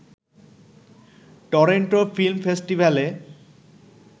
Toronto film ফেস্টিভ্যালে